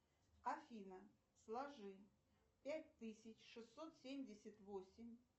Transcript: афина сложи пять тысяч шестьсот семьдесят восемь